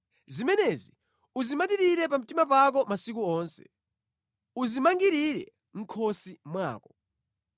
Zimenezi uzimatirire pa mtima pako masiku onse, uzimangirire mʼkhosi mwako.